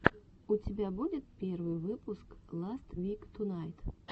у тебя будет первый выпуск ласт вик тунайт